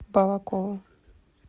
балаково